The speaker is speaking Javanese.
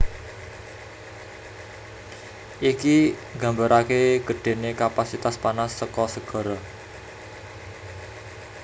Iki nggambaraké gedhéné kapasitas panas saka segara